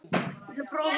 Geri ekkert.